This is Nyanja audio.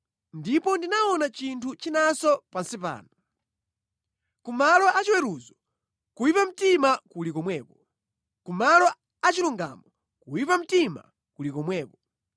Ndipo ndinaona chinthu chinanso pansi pano: ku malo achiweruzo, kuyipa mtima kuli komweko, ku malo achilungamo, kuyipa mtima kuli komweko.